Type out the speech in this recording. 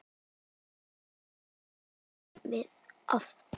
Þetta gerum við oft.